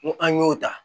N ko an y'o ta